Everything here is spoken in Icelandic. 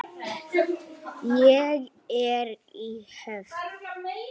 Ég er í höfn.